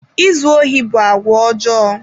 Izu ohi bụ àgwà ọjọọ.